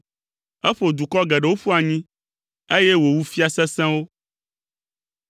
Eƒo dukɔ geɖewo ƒu anyi, eye wòwu fia sesẽwo.